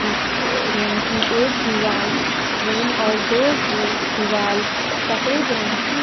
जिस क रूम की एक दीवाल ग्रीन और दो ग्रीन दीवाल सफेद रंग की --